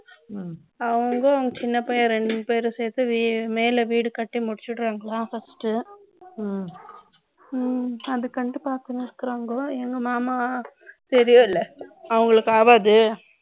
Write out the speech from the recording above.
அவங்க சின்னப் பையன் இரண்டு பேர் சேர்ந்து மேல வீடு கட்டி முடித்துவிடுகிறார்கள் first அதுக்கு வந்து பாக்கறாங்க அப்புறம் எங்க மாமா தெரியும் இல்லையா அவர்களுக்கு ஆகாது